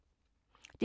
DR P2